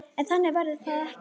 En þannig verður það ekki.